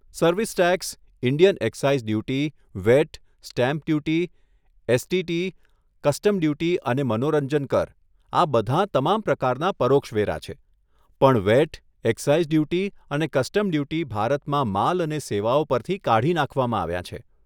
Service tax, Indian excise duty, VAT, stamp duty, STT, custom duty અને મનોરંજન કર, આ બધાં તમામ પ્રકારના પરોક્ષ વેરા છે, પણ વેટ, એક્સાઈઝ ડ્યુટી અને કસ્ટમ ડ્યુટી ભારતમાં માલ અને સેવાઓ પરથી કાઢી નાંખવામાં આવ્યાં છે.